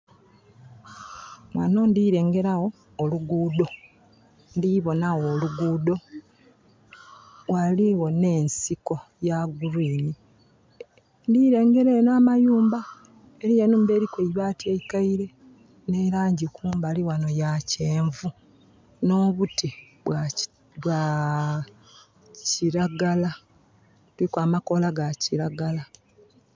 Wano ndilengerawo oluguudo, ndiboonawo oluguudo. Waliwo nensiko ya kiragala. Ndirengala namayumba. Eriyo enhumba eriko eibaati eikaire ni langi kumbali wano ya kyenvu no buti bwa kiragala. Kuliku amakoola ga kiragala